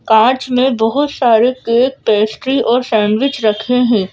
कांच में बहुत सारे केक पेस्ट्री और सैंडविच रखे हैं।